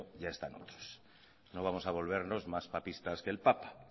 ya están otros no vamos a volvernos más papistas que el papa